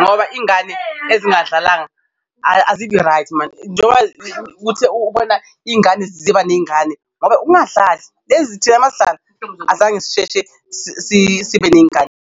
Ngoba ingane ezingadlalanga azibi-right mani njengoba ukuthi ubona iy'ngane ziba ney'ngane ngoba ungadlali thina masidlala azange sisheshe sibe ney'ngane.